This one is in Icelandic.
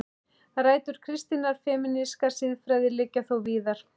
Rætur kristinnar femínískrar siðfræði liggja þó víðar.